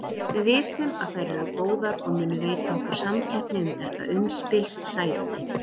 Við vitum að þær eru góðar og munu veita okkur samkeppni um þetta umspilssæti.